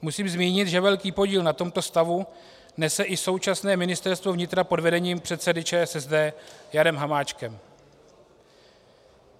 Musím zmínit, že velký podíl na tomto stavu nese i současné Ministerstvo vnitra pod vedením předsedy ČSSD Jana Hamáčka.